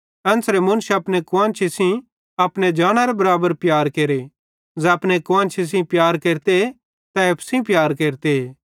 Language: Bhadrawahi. एन्च़रे मुन्श अपने कुआन्शी सेइं अपने जानी बराबर प्यार केरे ज़ै अपने कुआन्शी सेइं प्यार केरते तै एप्पू सेइं प्यार केरते